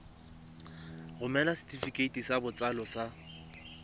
romela setefikeiti sa botsalo sa